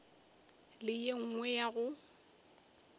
le ye nngwe ya go